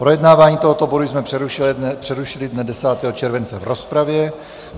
Projednávání tohoto bodu jsme přerušili dne 10. července v rozpravě.